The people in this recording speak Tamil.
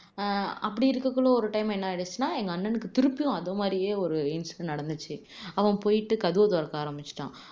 ஆஹ் அப்படி இருக்ககுள்ள ஒரு time என்ன ஆயிடுச்சுன்னா எங்க அண்ணனுக்கு அதே மாதிரியே ஒரு incident நடந்துச்சு அவன் போயிட்டு ஆரமிச்சுட்டான்